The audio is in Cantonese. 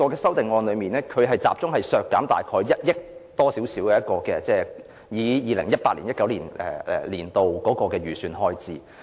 修正案集中削減1億多元，大約相當於 2018-2019 年度創科局創科基金的預算開支。